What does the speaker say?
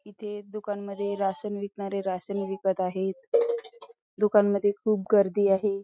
इथे दुकान मध्ये राशन विकणारे राशन विकत आहे दुकान मध्ये खूप गर्दी आहे.